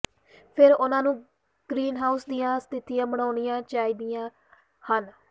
ਫਿਰ ਉਹਨਾਂ ਨੂੰ ਗਰੀਨਹਾਊਸ ਦੀਆਂ ਸਥਿਤੀਆਂ ਬਣਾਉਣੀਆਂ ਚਾਹੀਦੀਆਂ ਹਨ